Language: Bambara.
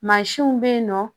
Mansinw bɛ yen nɔ